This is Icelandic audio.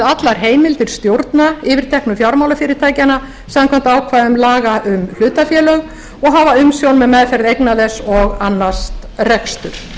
allar heimildir stjórna yfirteknu fjármálafyrirtækjanna samkvæmt ákvæðum laga um hlutafélög og hafa umsjón með meðferð eigna þess og annast rekstur